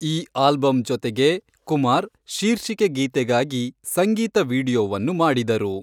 ಈ ಆಲ್ಬಮ್ ಜೊತೆಗೆ, ಕುಮಾರ್ ಶೀರ್ಷಿಕೆ ಗೀತೆಗಾಗಿ ಸಂಗೀತ ವೀಡಿಯೊವನ್ನು ಮಾಡಿದರು.